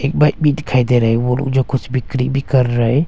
Bike भी दिखाई दे रहे है वो लोग कुछ भी बिक्री भी कर रहे हैं।